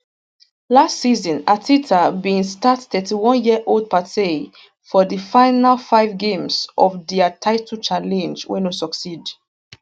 last season arteta bin start 31yearold partey for di final five games of dia title challenge wey no succeed